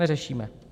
Neřešíme.